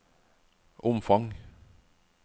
omfang